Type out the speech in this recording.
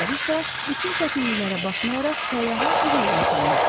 bəziləri isə bütün çətinliklərə baxmayaraq səyyaha uğurlar diləyirdilər.